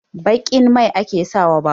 Baƙin mai ake sa wa babur